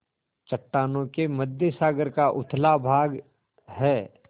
चट्टानों के मध्य सागर का उथला भाग है